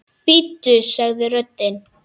Bíddu sagði röddin.